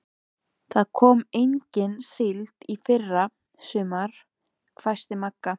Það kom engin síld í fyrra sumar, hvæsti Magga.